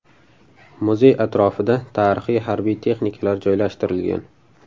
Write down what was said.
Muzey atrofida tarixiy harbiy texnikalar joylashtirilgan.